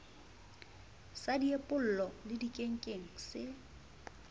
sa diepollo le dikenkeng se